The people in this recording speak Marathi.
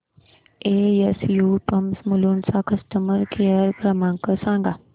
एसयू पंप्स मुलुंड चा कस्टमर केअर क्रमांक सांगा